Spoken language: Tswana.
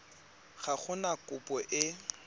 ga go na kopo e